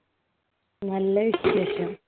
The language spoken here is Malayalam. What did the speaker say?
നല്ല വിശേഷം